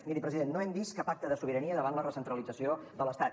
miri president no hem vist cap acte de sobirania davant la recentralització de l’estat